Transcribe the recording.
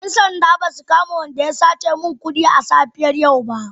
‘Yan sanda ba su kama mai laifin da ya sace min kudi a safiyar yau ba.